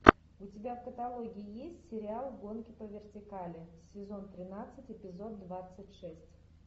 у тебя в каталоге есть сериал гонки по вертикали сезон тринадцать эпизод двадцать шесть